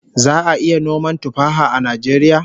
Za'a iya noman tuffaha a Najeriya?